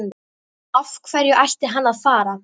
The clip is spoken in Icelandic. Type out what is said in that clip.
Af hverju ætti hann að fara?